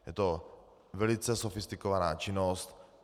Je to velice sofistikovaná činnost.